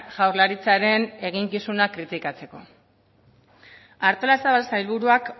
jaurlaritzaren eginkizunak kritikatzeko artolazabal sailburuak